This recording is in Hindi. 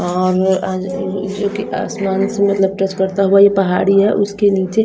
जोकि आसमान से मतलब टच करता हुआ ये पहाड़ी हैं उसके नीचे--